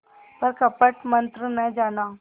पर कपट मन्त्र न जाना